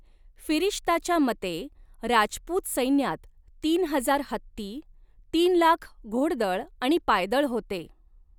फिरिश्ताच्या मते, राजपूत सैन्यात तीन हजार हत्ती, तीन लाख घोडदळ आणि पायदळ होते.